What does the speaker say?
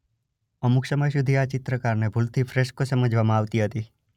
અમુક સમય સુધી આ ચિત્રકારીને ભૂલથી ફ્રેસ્કો સમજવામાં આવતી હતી.